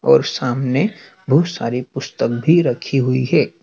और सामने बहोत सारी पुस्तक भी रखी हुई है।